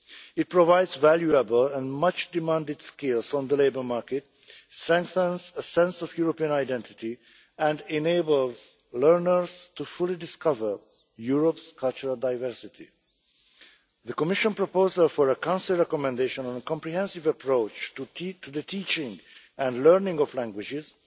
It provides valuable and much demanded skills on the labour market, strengthens a sense of European identity and enable learners fully to discover Europe's cultural diversity. The Commission proposal for a Council recommendation on a comprehensive approach to the teaching and learning of languages